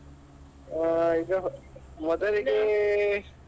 ಹಾ ಈಗ ಮೊದಲಿಗೆ.